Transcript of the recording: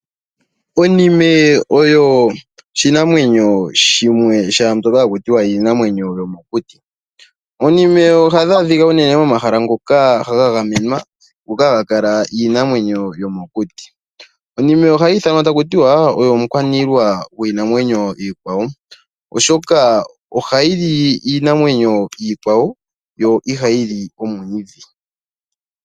Onime oyo oshinamwenyo shimwe shaambyoka haku tiwa iinamwenyo yomokuti. Oonime ohadhi adhika unene momahala ngoka gagamenwa, ngoka haga kala iinamwenyo yomokuti. Onime ohayi ithanwa takutiwa oyo omukwaniilwa gwiinamwenyo iikwawo, oshoka oha yili iinamwenyo iikwawo yo ihayi li omwiidhi.